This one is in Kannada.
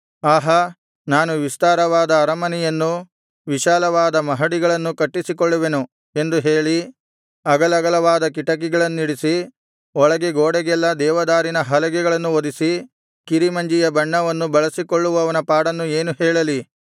ಆಹಾ ನಾನು ವಿಸ್ತಾರವಾದ ಅರಮನೆಯನ್ನೂ ವಿಶಾಲವಾದ ಮಹಡಿಗಳನ್ನೂ ಕಟ್ಟಿಸಿಕೊಳ್ಳುವೆನು ಎಂದು ಹೇಳಿ ಅಗಲಗಲವಾದ ಕಿಟಕಿಗಳನ್ನಿಡಿಸಿ ಒಳಗೆ ಗೋಡೆಗೆಲ್ಲಾ ದೇವದಾರಿನ ಹಲಗೆಗಳನ್ನು ಹೊದಿಸಿ ಕಿರಿಮಂಜಿಯ ಬಣ್ಣವನ್ನು ಬಳಿಸಿಕೊಳ್ಳುವವನ ಪಾಡನ್ನು ಏನು ಹೇಳಲಿ